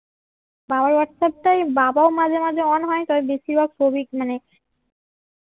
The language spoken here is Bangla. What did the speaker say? বাবার হোয়াটসঅ্যাপ টায় বাবাও মাঝে মাঝে অন হয় তাই বেশিরভাগ সৌভিক